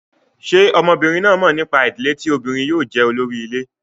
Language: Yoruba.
Ṣé ọmọbìnrin náà mọ̀ nípa ìdílé tí obìnrin yóò jẹ́ olórí ilé?